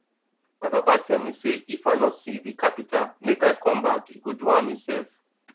my papa tell me say if i no see the carpenter make i come back he go do am himself